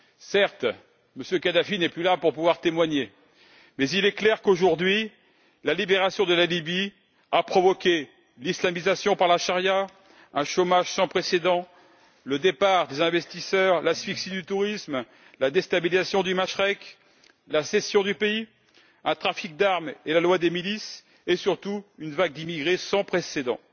Certes, Kadhafi n'est plus là pour pouvoir témoigner, mais il est clair qu'aujourd'hui la libération de la Libye a provoqué l'islamisation par la charia, un chômage sans précédent, le départ des investisseurs, l'asphyxie du tourisme, la déstabilisation du Machrek, la scission du pays, un trafic d'armes et la loi des milices et surtout une vague d'immigrés sans précédent.